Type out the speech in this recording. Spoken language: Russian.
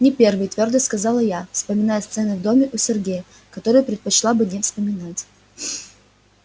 не первый твёрдо сказала я вспоминая сцены в доме у сергея которые предпочла бы не вспоминать